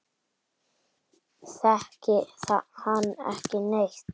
Þekki hann ekki neitt.